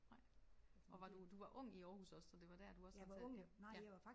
Nej. Og var du du var ung i Aarhus også så det var der du også har taget ja ja